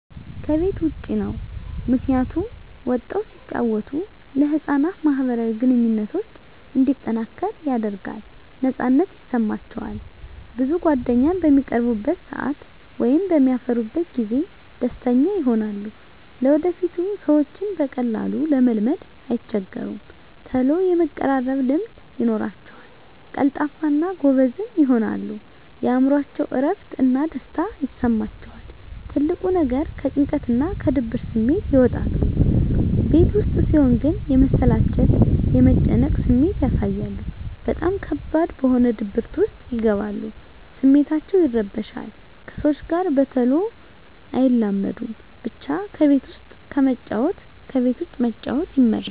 ከቤት ዉጭ ነዉ ምክንያቱም ወጠዉ ሲጫወቱ ለህፃናት ማህበራዊ ግንኙነቶች እንዲጠናከር ያደርጋል ነፃነት ይሰማቸዋል ብዙ ጓደኛም በሚቀርቡበት ሰአት ወይም በሚያፈሩበት ጊዜ ደስተኛ ይሆናሉ ለወደፊቱ ሰዎችን በቀላሉ ለመልመድ አይቸገሩም ተሎ የመቀራረብ ልምድ ይኖራቸዉል ቀልጣፋ እና ጎበዝም ይሆናሉ የእምሮአቸዉ እረፍት እና ደስታ ይሰማቸዋል ትልቁ ነገር ከጭንቀትና ከድብርት ስሜት ይወጣሉ ቤት ዉስጥ ሲሆን ግን የመሰላቸት የመጨነቅ ስሜት ያሳያሉ በጣም ከባድ በሆነ ድብርት ዉስጥ ይገባሉ ስሜታቸዉ ይረበሻል ከሰዎች ጋር በተሎ አይላመዱም ብቻ ከቤት ዉስጥ ከመጫወት ከቤት ዉጭ መጫወት ይመረጣል